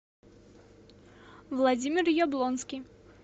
владимир яблонский